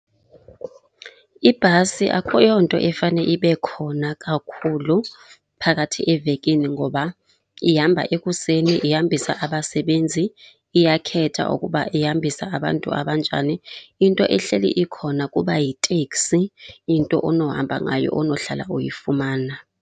Ibhasi akuyonto efana ibe khona kakhulu phakathi evekini ngoba ihamba ekuseni ihambisa abasebenzi. Iyakhetha ukuba ihambisa abantu abanjani. Into ehleli ikhona kuba yiteksi, into onohamba ngayo onohlala uyifumana.